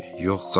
Yox, xala.